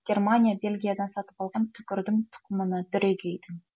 германия бельгиядан сатып алған түкірдім тұқымына дүрегейдің